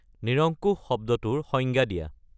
নিৰঙ্কুশ শব্দটোৰ সংজ্ঞা দিয়া